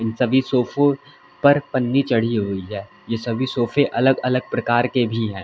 सभी सोफो पर पन्नी चढ़ी हुई है यह सभी सोफे अलग अलग प्रकार के भी हैं।